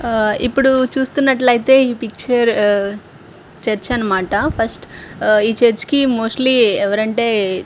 ఆ ఇప్పుడు చూస్తున్నట్లైతే ఈ పిక్చర్ ఆ చర్చి అనమాట ఫస్ట్ ఈ చర్చి కి మొస్త్లి ఎవరంటే --